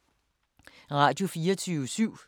Radio24syv